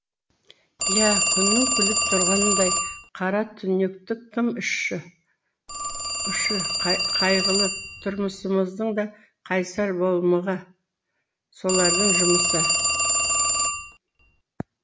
иә күннің күліп тұрғанындай қаратүнектік тым ұшы қайғылы тұрмысымыздың да қайсар болмығы солардың жұмысы